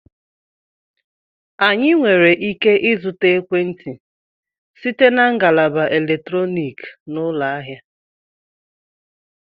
Anyị nwere ike ịzụta ekwentị site na ngalaba eletrọnịkị na ụlọ ahịa